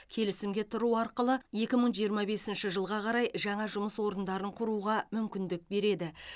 келісімге тұру арқылы екі мың жиырма бесінші жылға қарай жаңа жұмыс орындарын құруға мүмкіндік береді